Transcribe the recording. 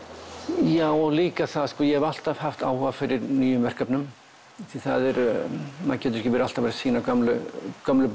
já og líka það að ég hef alltaf haft áhuga á nýjum verkefnum því maður getur ekki alltaf verið að sýna gömlu gömlu